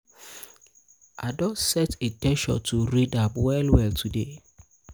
i don set in ten tion to read am well well today.